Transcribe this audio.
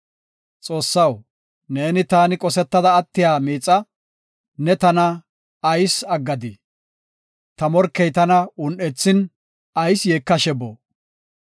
Xoossaw, neeni, taani qosetada attiya miixa; ne tana ayis aggadii? Ta morkey tana un7ethin, ayis yeekashe boo?